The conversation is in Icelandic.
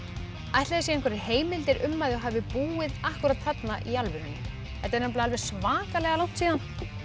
ætli séu einhverjar heimildir um að þau hafi búið þarna í alvörunni þetta er nefnilega alveg svakalega langt síðan